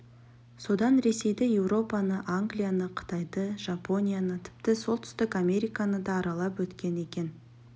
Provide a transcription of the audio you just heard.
содан ресейді еуропаны англияны қытайды жапонияны тіпті солтүстік американы да аралап өткен екен